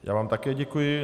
Já vám také děkuji.